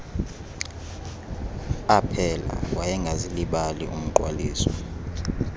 aphela wayengazilibali umgqwaliso